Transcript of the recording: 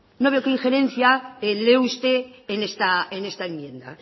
no veo qué injerencia lee usted en esta enmienda